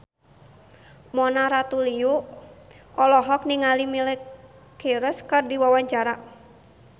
Mona Ratuliu olohok ningali Miley Cyrus keur diwawancara